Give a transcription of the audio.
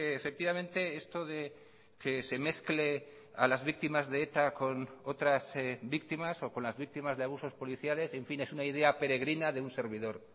efectivamente esto de que se mezcle a las víctimas de eta con otras víctimas o con las víctimas de abusos policiales en fin es una idea peregrina de un servidor